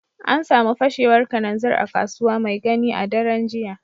An samu fashewar kananzir a Kasuwa Maigani a daren jiya